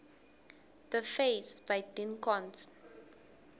the face by dean koontz